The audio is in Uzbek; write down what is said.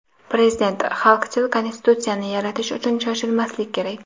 Prezident: Xalqchil Konstitusiyani yaratish uchun shoshilmaslik kerak.